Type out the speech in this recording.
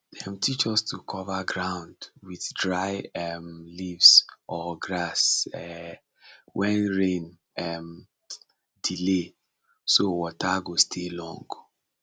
dem teach us to cover ground with dry um leaves or grass um when rain um delay so water go stay long